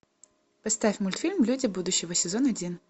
поставь мультфильм люди будущего сезон один